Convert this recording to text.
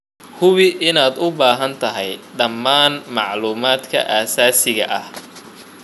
Hubi inaad u baahan tahay dhammaan macluumaadka aasaasiga ah.